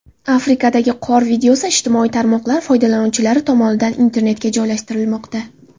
Afrikadagi qor videosi ijtimoiy tarmoqlar foydalanuvchilari tomonidan internetga joylashtirilmoqda.